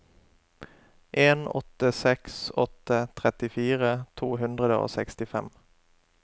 en åtte seks åtte trettifire to hundre og sekstifem